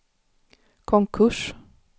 konkurs